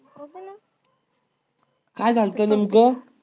काय झालतं तुमच?